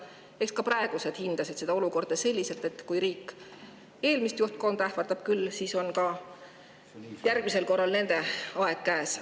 Eks ka praegused hindasid seda olukorda selliselt, et kui riik eelmist juhtkonda ähvardab, küll siis on järgmisel korral nende aeg käes.